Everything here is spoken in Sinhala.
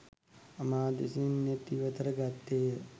මා දෙසින් නෙත් ඉවතට ගත්තේය.